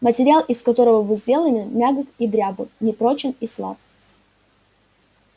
материал из которого вы сделаны мягок и дрябл непрочен и слаб